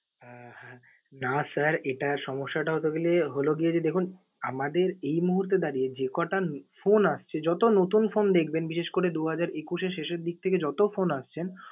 আহ না sir এটা সমস্যাটা basically হল গিয়ে যে দেখুন, আমাদের এই মুহূর্তে দাঁড়িয়ে যে কটান phone আসছে যত নতুন phone দেখবেন বিশেষ করে দু হাজার একুশ এর শেষের দিক থেকে যত phone আসছেন